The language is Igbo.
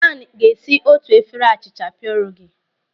Dan ga-esi otu efere achịcha pierogi.